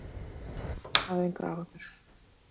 Hafðu engar áhyggjur.